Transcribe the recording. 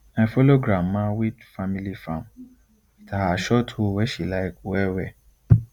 i follow grandma weed family farm with her short hoe wey she like well well